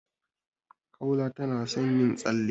Kaula tana son yin tsalle.